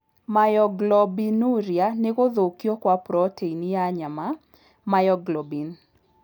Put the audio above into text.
Myoglobinuria nĩ gũthũkio kwa proteini ya nyama, myoglobin.